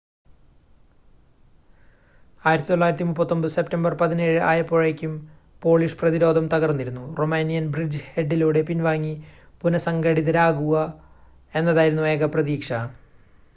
1939 September 17 ആയപ്പോഴേക്കും Polish പ്രതിരോധം തകർന്നിരുന്നു റൊമാനിയൻ ബ്രിഡ്ജ് ഹെഡിലൂടെ പിൻവാങ്ങി പുനഃസംഘടിതരാവുക എന്നതായിരുന്നു ഏക പ്രതീക്ഷ